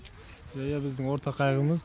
иә біздің ортақ қайғымыз